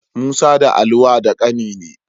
Musa da Ali wa da ƙani ne.